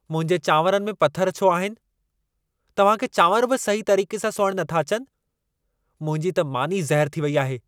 मुंहिंजे चांवरनि में पथरु छो आहिन? तव्हां खे चांवर बि सही तरीक़े सां सोइणु नथा अचनि। मुंहिंजी त मानी ज़हरु थी वेई आहे।